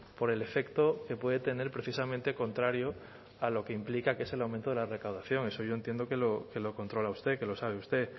por el efecto que puede tener precisamente contrario a lo que implica que es el aumento de la recaudación eso yo entiendo que lo controla usted que lo sabe usted